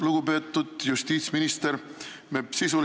Lugupeetud justiitsminister!